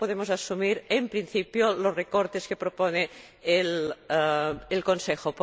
no podemos asumir, en principio, los recortes que propone el Consejo.